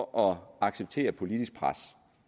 år at acceptere politisk pres